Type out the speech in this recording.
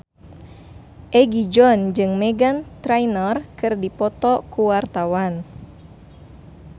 Egi John jeung Meghan Trainor keur dipoto ku wartawan